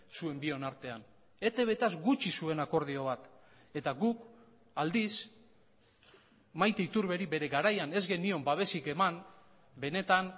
zuen bion artean etbtaz gutxi zuen akordio bat eta guk aldiz maite iturberi bere garaian ez genion babesik eman benetan